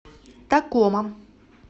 такома